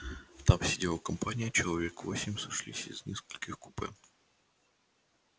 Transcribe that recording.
там сидела компания человек восемь сошлись из нескольких купе